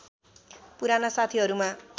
पुराना साथीहरूमा